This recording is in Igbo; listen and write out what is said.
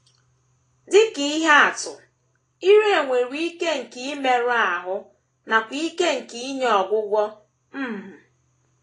Dị ka ihe atụ, ire nwere ike nke imerụ ahụ nakwa ike nke inye ọgwụgwọ. um